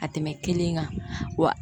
Ka tɛmɛ kelen kan wa